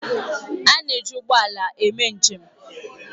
A na-eji ụgbọ ala eme njem.